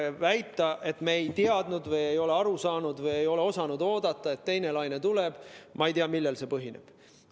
Väide, et me ei teadnud või ei ole aru saanud või ei ole osanud oodata, et teine laine tuleb – ma ei tea, millel see põhineb.